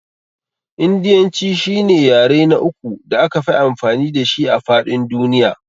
Indiyanci shine yare na uku da akafi amfani dashi a faɗin duniya.